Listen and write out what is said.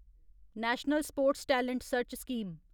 national sports talent search scheme